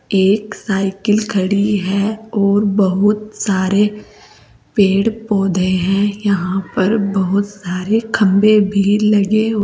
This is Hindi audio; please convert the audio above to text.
एक साइकिल खड़ी है और बहोत सारे पेड़ पौधे हैं यहां पर बहोत सारे खंबे भी लगे--